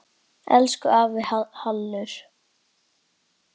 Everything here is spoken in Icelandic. Elsku afi Hallur.